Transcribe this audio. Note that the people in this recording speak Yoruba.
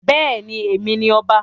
Bẹ́ẹ̀ ni, Èmi ni ọba.